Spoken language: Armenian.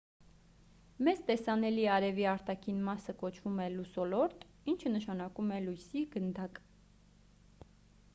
մեզ տեսանելի արևի արտաքին մասը կոչվում է լուսոլորտ ինչը նշանակում է լույսի գնդակ